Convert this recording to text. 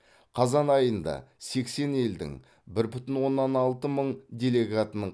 қазан айында сексен елдің бір бүтін оннан алты мың делегатының